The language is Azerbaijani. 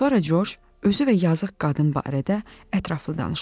Sonra Corc özü və yazıq qadın barədə ətraflı danışdı.